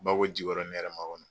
Bako Jikɔrɔni hɛrɛmakɔnɔ